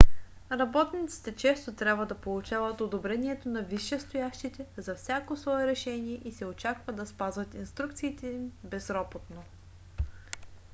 работниците често трябва да получават одобрението на висшестоящите за всяко свое решение и се очаква да спазват инструкциите им безропотно